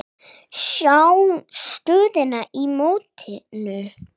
Sjá stöðuna í mótinu.